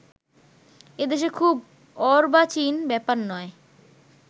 এ দেশে খুব অর্বাচীন ব্যাপার নয়